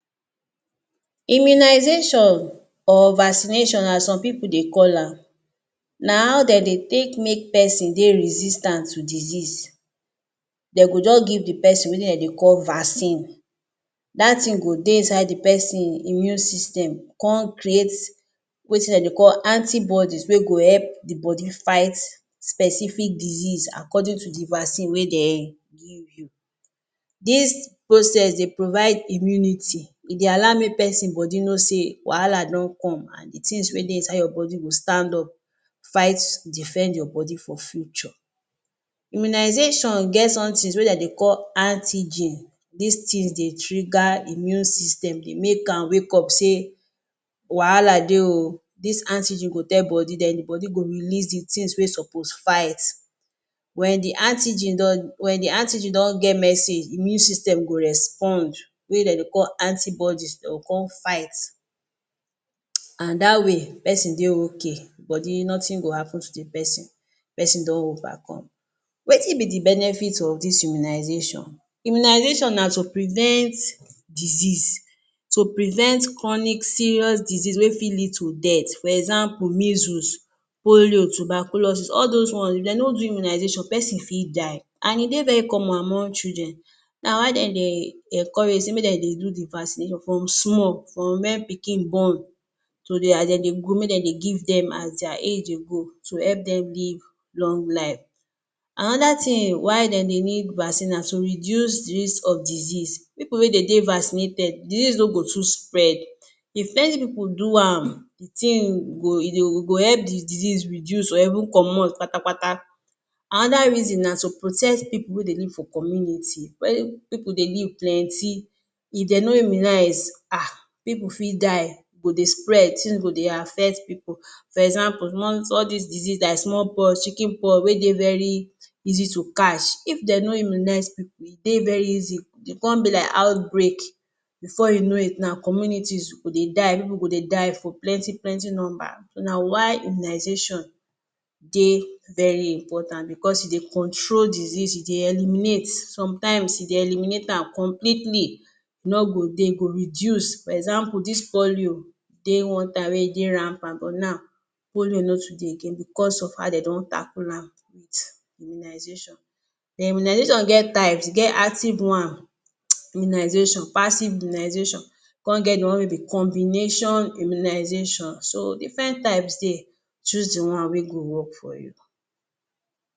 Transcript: Immunization or vaccination as some pipu dey call am, na how den dey take make pesin dey resistant to disease, den go just give the pesin wetin den dey call vaccine, that thing go dey inside the pesin immune system con create wetin den dey call antibodies wey go help the body fight specific disease according to the vaccine wey den give you. This process dey provide immunity, e dey allow make pesin body no say wahala don come, and the things wey dey inside your body go stand up fight, defend your body for future. Immunization get somethings wey den dey call antigens, these things dey trigger immune system, dey make am wake up say wahala dey oo! This antigen go tell body, then the body go release the things wey suppose fight. When the antigen don, when the antigen don get message, immune system go respond, wey den dey call antibodies they go con fight, and that way pesin dey okay, body nothing go happen to the pesin, pesin don overcome. Wetin be the benefits of this immunization? Immunization na to prevent disease, to prevent chronic serious disease wey fi lead to death, for example, measles, polio, tuberculosis, all those ones if dem no do you immunization pesin fi die, and e dey very common among children, na why den dey encourage sey make den dey do the vaccination from small, from when pikin born to their, den dey grow, make dem dey give them as their age dey go, to help them live long life. Another thing why den dey need vaccine na to reduce the risk of disease, pipu wey dey de vaccinated, disease no go too spread, if plenty pipu do am, the thing go, e go help the disease reduce or even comot kpata-kpata. Another reason na to protect pipu wey dey live for community, when pipu dey live plenty, if dem no immunize, ahh! Pipu fi die, go dey spread, things go dey affect pipu. For example, small, all these diseases like small pox, chicken pox wey dey very easy to catch, if dem no immunize pipu, e dey very easy, e con be like outbreak, before you know it now communities go dey die, pipu go dey die for plenty plenty number, na why immunization de very important because e dey control disease, e dey help eliminate, sometimes e dey eliminate am completely, e no go de, e go reduce. For example, this polio dey one time wey e dey rampant but now polio no too de again because of how dey don tackle am with immunization. Then immunization get types, e get active one immunization, passive immunization, con get the one wey be combination immunization, so different types de, choose the one wey go work for you.